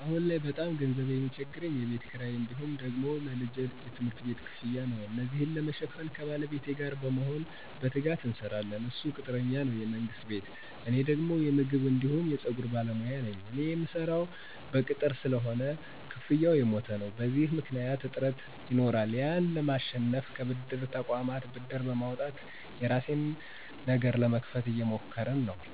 አሁን ላይ በጣም ገንዘብ ሚቸግረኝ የቤት ክራይ እንዲሁም ደግሞ ለልጄ የትምህርት ቤት ክፍያ ነው። እነዚን ለመሸፈን ከባለቤቴ ጋር በመሆን በትጋት እንሰራለን እሱ ቅጥረኛ ነው የመንግስት ቤት እኔ ደግሞ የምግብ አንዲሁም የፀጉር ባለሞያ ነኝ። እኔ ምሰራው በቅጥር ስለሆነ ክፍያው የሞተ ነው። በዚህ ምክኒያት እጥረት ይኖራል ያን ለማሸነፍ ከብድር ተቆማት ብር በማውጣት የራሴን ነገር ለመክፈት እየሞከርን ነው።